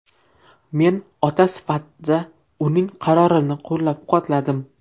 Men ota sifatida uning qarorini qo‘llab-quvvatladim.